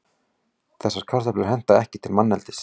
Þessar kartöflur henta ekki til manneldis.